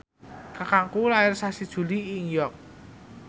kakangku lair sasi Juli ing York